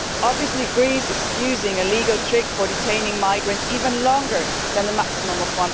Obviously Greece is using an illegal trick for detaining migrants even longer than the maximum of